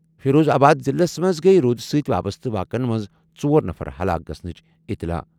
فیروز آباد ضِلعس منٛز گٔیہِ روٗدٕ سۭتۍ وابسطہٕ واقعن منٛز ژور نفر ہلاک گژھنٕچ اطلاع۔